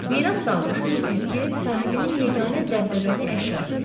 Miras qalmış bu güzgü ev sahibinin yeganə dəbdəbəli əşyası idi.